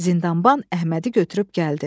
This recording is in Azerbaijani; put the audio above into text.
Zindanban Əhmədi götürüb gəldi.